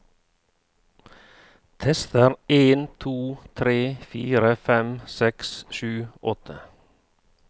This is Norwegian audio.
Tester en to tre fire fem seks sju åtte